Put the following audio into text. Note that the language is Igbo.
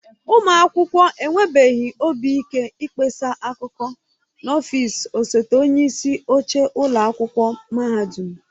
Ụmụ akwụkwọ enwebeghị obi ike ịkpesa akụkọ n'ọfịs osote onyeisi oche ụlọ akwụkwọ mahadum